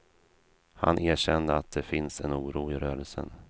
Han erkände att det finns en oro i rörelsen.